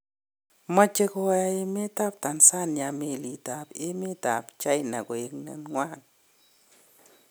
Moche koyaa emet ab Tanzania meliit ab emet ab China koek nenywan.